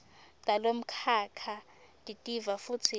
talomkhakha titiva futsi